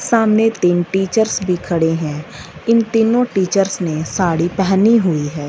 सामने तीन टीचर्स भी खड़े हैं इन तीनों टीचर्स ने साड़ी पहनी हुई है।